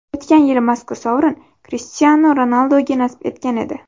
O‘tgan yili mazkur sovrin Krishtianu Ronalduga nasib etgan edi.